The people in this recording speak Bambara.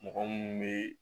Mɔgɔ munnu be